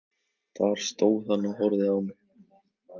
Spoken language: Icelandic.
Þar stóð hann og horfði á mig.